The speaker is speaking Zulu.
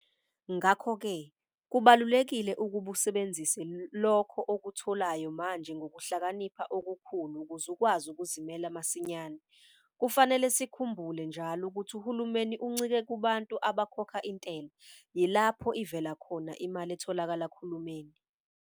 Ngakho ke, kubalulekile ukuba usebenzise lokho okutholayo manje ngokuhlakanipha okukhulu ukuze ukwazi ukuzimela masinyane. Kufanele sikhumbule njalo ukuthi uhulumeni uncike kubantu abakhokha intela - yilapho ivela khona imali etholakala kuhulumeni.